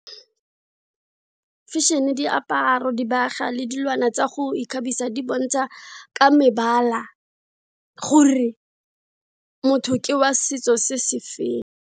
Fashion-e, diaparo, dibaga le dilwana tsa go ikgabisa di bontsha ka mebala gore motho ke wa setso se se feng.